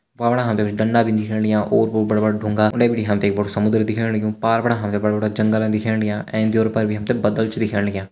वा फणा हमते कुछ डंडा भी दिखेण लग्यां ओर-पोर बड़ा-बड़ा ढुंगा उंडे बिटी हमते एक बडु समुन्द्र दिखेण लग्यु पार फणा हमते बड़ा बड़ा जंगला दिखेण लग्यां एंच ड्योर पर भी हमते बद्दल छ दिखेण लग्यां।